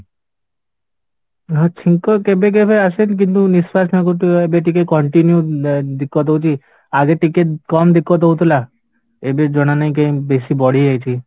ହଁ, ଛିଙ୍କ କେବେ କେବେ ଆସେ କିନ୍ତୁ ନିଶ୍ୱାସ ନେବାକୁ ଟିକେ ଏବେ ଟିକେ continue ହଉଚି ଆଜି ଟିକେ କମ ହଉଥିଲା ଏବେ ଜଣା ନାହିଁ କାହିଁକି ବେଶୀ ବଢିଯାଇଛି